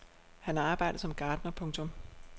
Han har arbejdet som gartner. punktum